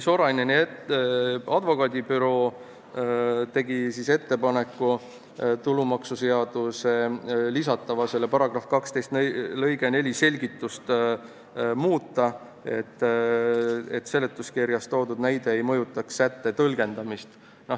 Soraineni advokaadibüroo tegi ettepaneku tulumaksuseadusesse lisatava § 12 lõike 4 selgitust muuta, et seletuskirjas toodud näide ei mõjutaks sätte tõlgendamist.